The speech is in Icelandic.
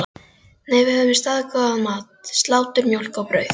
Nei, við höfðum staðgóðan mat: Slátur, mjólk og brauð.